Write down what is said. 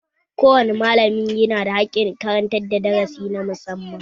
Ko wane malami yana da haƙƙin karantar da darasi na musamman